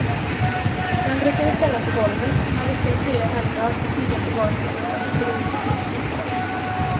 Den brukade vi ställa på golvet, när vi skulle fira helgdag och ligga på var sin madrass bredvid och lyssna.